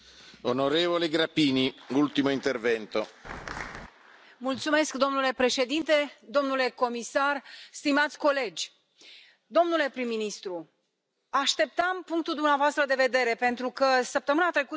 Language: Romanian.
Domnule președinte, domnule comisar, stimați colegi, domnule prim ministru, așteptam punctul dumneavoastră de vedere pentru că săptămâna trecută am dat un interviu unui jurnalist din Ungaria care mă întreba cum voi vota.